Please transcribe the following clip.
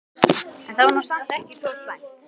En það var nú samt ekki svo slæmt.